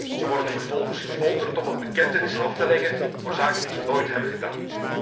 Ze worden vervolgens gefolterd om een bekentenis af te leggen voor zaken die ze nooit hebben gedaan.